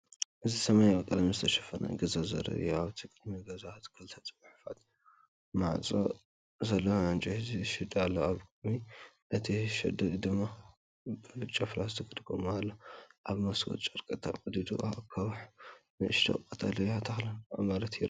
እዚ ብሰማያዊ ቀለም ዝተሸፈነ ገዛ ዘርኢ እዩ። ኣብ ቅድሚ እቲ ገዛ ክልተ ክፉት ማዕጾ ዘለዎ ዕንጨይቲ ሸድ ኣሎ፡ኣብ ቅድሚ እቲ ሸድ ድማ ብጫ ፕላስቲክ ጎማ ኣሎ። ኣብ መስኮት ጨርቂ ተቐዲዱ፡ ኣኻውሕን ንእሽቶ ቀጠልያ ተኽልን ኣብ መሬት ይራኣዩ።